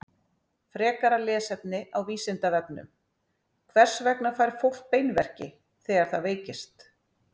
Frekara lesefni á Vísindavefnum: Hvers vegna fær fólk beinverki þegar það veikist?